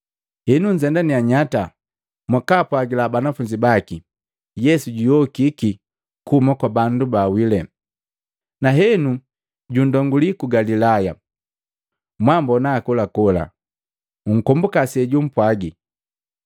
Henu, nzendania nyata mwakaapwagila banafunzi baki, ‘Yesu juyokiki kuhuma kwa bandu baa wile, na henu junndonguli ku Galilaya, mwaambona hakolakola.’ Nkombuka senumpwaji.”